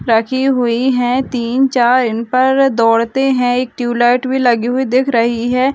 रखी हुई है तीन चार इनपर दौडते है एक ट्यूब लाइट भी लगी हुई दिख रही है।